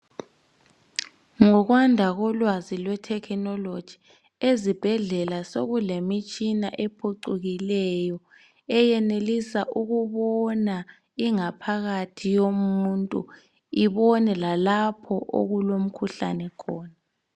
Ngokwanda kolwazi lwethekhinoloji ezibhedlela sekulemitshina ephuchukileyo eyenelisa ukubona ingaphakathi yomuntu, ibone lalapho okulomkhuhlane khona.